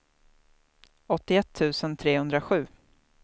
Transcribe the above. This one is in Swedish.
åttioett tusen trehundrasju